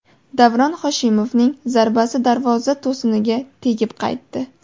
Davron Hoshimovning zarbasi darvoza to‘siniga tegib qaytdi.